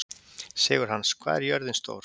Sigurhans, hvað er jörðin stór?